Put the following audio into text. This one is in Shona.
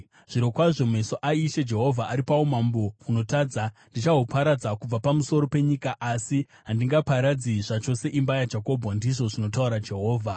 “Zvirokwazvo meso aIshe Jehovha ari paumambo hunotadza. Ndichahuparadza kubva pamusoro penyika, asi handingaparadzi zvachose imba yaJakobho,” ndizvo zvinotaura Jehovha.